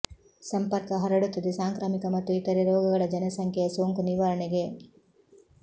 ಸಂಪರ್ಕ ಹರಡುತ್ತದೆ ಸಾಂಕ್ರಾಮಿಕ ಮತ್ತು ಇತರೆ ರೋಗಗಳ ಜನಸಂಖ್ಯೆಯ ಸೋಂಕು ನಿವಾರಣೆಗೆ